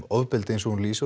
ofbeldi eins og hún lýsir